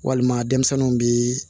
Walima denmisɛnninw bi